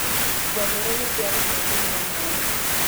Ngamĩra nĩciatwarwo kũnyua maaĩ.